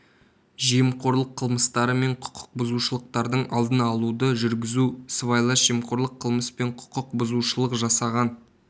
жемқорлық қылмыстары мен құқық бұзушылықтардың алдын алуды жүргізу сыбайлас жемқорлық қылмыс пен құқық бұзушылық жасаған